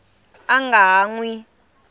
a nga ha n wi